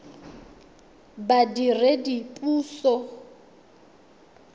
badiredipuso